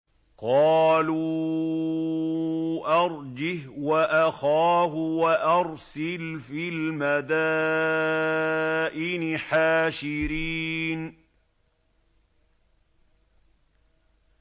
قَالُوا أَرْجِهْ وَأَخَاهُ وَأَرْسِلْ فِي الْمَدَائِنِ حَاشِرِينَ